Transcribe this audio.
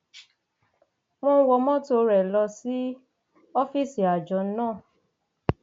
wọn wọ mọtò rẹ lọ sí ọfíìsì àjọ náà